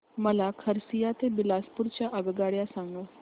मला खरसिया ते बिलासपुर च्या आगगाड्या सांगा